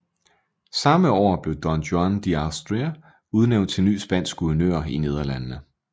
Samme år blev Don Juan de Austria udnævnt til ny spansk guvernør i Nederlandene